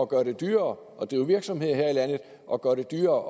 gøre det dyrere at drive virksomhed her i landet og gøre det dyrere